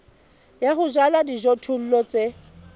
ya ho jala dijothollo tse